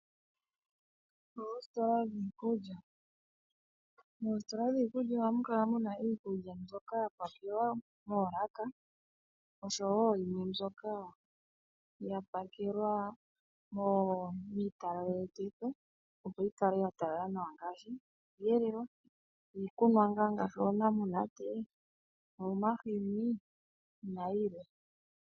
Oositola dhiikulya. Moositola dhiikulya ohamu kala mu na iikulya mbyoka ya pakelwa moolaka, osho wo yimwe mbyoka ya pakelwa miitalalekitho opo yi kale ya talala nawa ngaashi: iiyelelwa, iikunwa ngaa ngaashi oonamunate, omahini nayilwe.